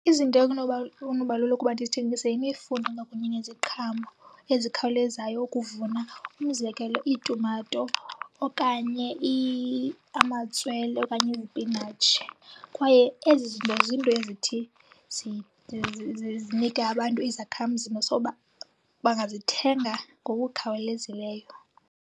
Izinto ekunoba lula ukuba ndizithengise yimifuno kwakunye neziqhamo ezikhawulezayo ukuvuna. Umzekelo, iitumato okanye amatswele okanye izipinatshi. Kwaye ezi zinto ziinto ezithi zinike abantu izakhamzimba. So, bangazithenga ngokukhawulezileyo.